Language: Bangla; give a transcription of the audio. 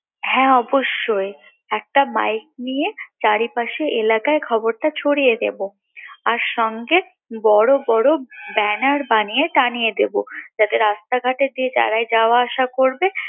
হ্যাঁ অবশ্যই একটা mike নিয়ে চারি পাশে এলাকায় খবরটা ছড়িয়ে দেবো আর সঙ্গে বড় বড় banner বানিয়ে টাঙ্গিয়ে দেবো যাতে রাস্তাঘাটে যারাই যাওয়া আসা করবে